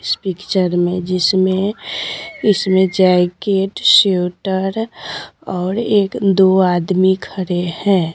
इस पिक्चर में जिसमें इसमें जैकेट शूटर और एक दो आदमी खरे हैं।